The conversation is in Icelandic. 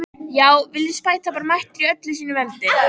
Já, Villi spæta bara mættur í öllu sínu veldi!